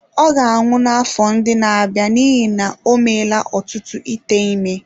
Ọ ga-anwụ n’afọ ndị na-abịa n’ihi na o meela ọtụtụ ite ime.